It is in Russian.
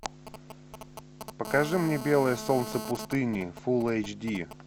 покажи мне белое солнце пустыни фул эйч ди